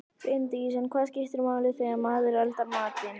Bryndís: En hvað skiptir máli þegar maður eldar matinn?